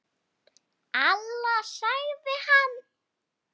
Alla, sagði hann.